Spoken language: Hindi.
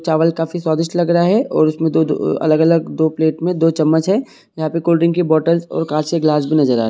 चावल काफी स्वादिस्ट लग रहे है और उसमें दो दो अलग अलग दो प्लेट में दो चम्मच है यहाँ कोल्ड ड्रिंक और कांच का गिलास भी नज़र आ रहा है।